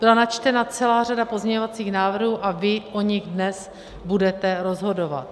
Byla načtena celá řada pozměňovacích návrhů a vy o nich dnes budete rozhodovat.